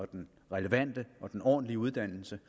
den relevante og den ordentlige uddannelse